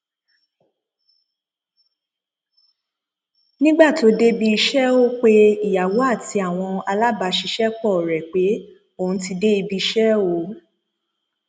nígbà tó débi iṣẹ ó pe ìyàwó àti àwọn alábàáṣiṣẹpọ rẹ pé òun ti dé ibi iṣẹ o